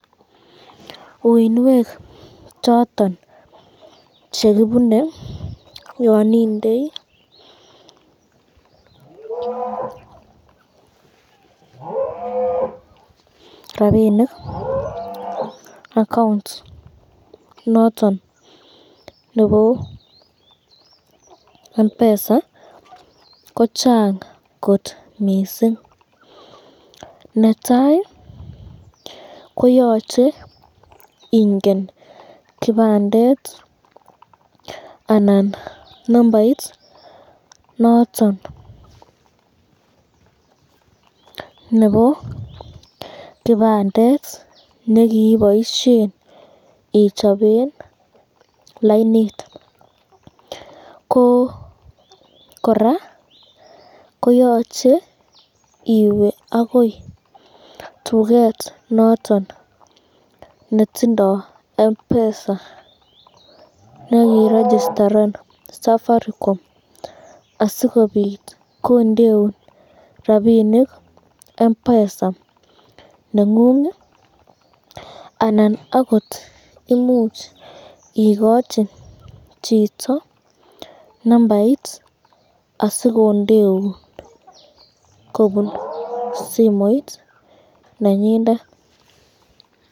Uinwek choton chekibune yon kindei rapinik account noton nebo Mpesa ko Chang kot missing, netai koyache ingen kibandet anan nambait noton nebo kibandet nekiboisyen ichaben lainit, ko koraa koyache iwe akoi tuket noton netindo Mpesa nekirejistaren safaricom asikobit kondeun rapinik Mpesa nengung anan akot ko imuch ikochi chito nambait asikondeun kobun simoit nenyindet.